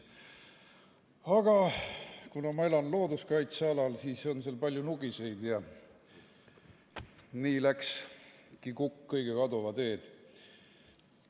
Aga kuna ma elan looduskaitsealal, kus on palju nugiseid, siis läkski kukk kõige kaduva teed.